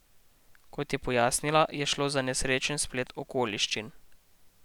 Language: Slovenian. Kot je pojasnila, je šlo za nesrečen splet okoliščin.